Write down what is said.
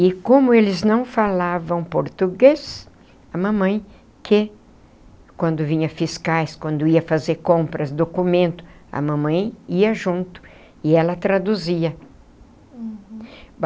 E como eles não falavam português, a mamãe, que quando vinha fiscais, quando ia fazer compras, documento, a mamãe ia junto e ela traduzia. Uhum.